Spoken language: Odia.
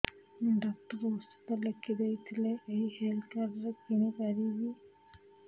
ଡକ୍ଟର ଔଷଧ ଲେଖିଦେଇଥିଲେ ଏଇ ହେଲ୍ଥ କାର୍ଡ ରେ କିଣିପାରିବି